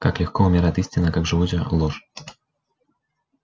как легко умирает истина как живуча ложь